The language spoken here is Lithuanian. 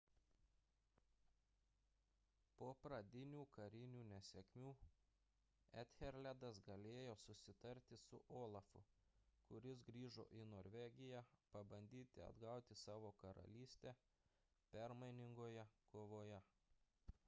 po pradinių karinių nesėkmių ethelredas galėjo susitarti su olafu kuris grįžo į norvegiją pabandyti atgauti savo karalystę permainingoje kovoje